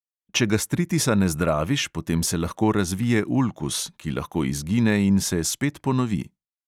Če gastritisa ne zdraviš, potem se lahko razvije ulkus, ki lahko izgine in se spet ponovi.